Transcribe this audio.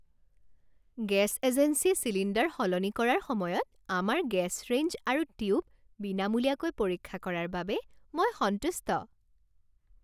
Gas এজেন্সীয়ে cylinder সলনি কৰাৰ সময়ত আমাৰ গেছ ৰেঞ্জ আৰু টিউব বিনামূলীয়াকৈ পৰীক্ষা কৰাৰ বাবে মই সন্তুষ্ট।